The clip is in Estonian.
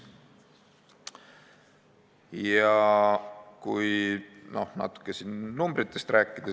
Räägime natuke numbritest.